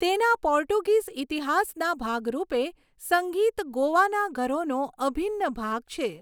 તેના પોર્ટુગીઝ ઇતિહાસના ભાગરૂપે, સંગીત ગોવાના ઘરોનો અભિન્ન ભાગ છે.